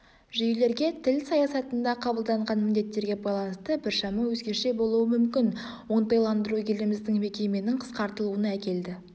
жүйелерге тіл саясатында қабылданған міндеттерге байланысты біршама өзгеше болуы мүмкін оңтайландыру еліміздің мекеменің қысқартылуына әкелді